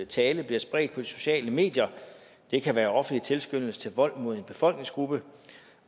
tale blive spredt på de sociale medier det kan være offentlig tilskyndelse til vold mod en befolkningsgruppe